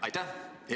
Aitäh!